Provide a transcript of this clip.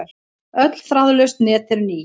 Öll þráðlaus net eru ný.